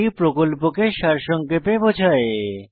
এটি প্রকল্পকে সারসংক্ষেপে বোঝায়